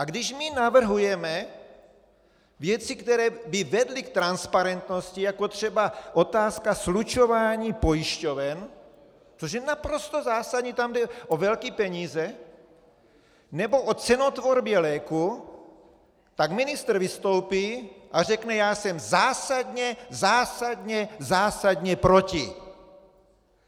A když my navrhujeme věci, které by vedly k transparentnosti, jako třeba otázka slučování pojišťoven, což je naprosto zásadní, tam jde o velké peníze, nebo o cenotvorbě léků, tak ministr vystoupí a řekne: Já jsem zásadně, zásadně, zásadně proti!